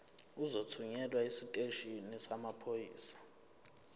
uzothunyelwa esiteshini samaphoyisa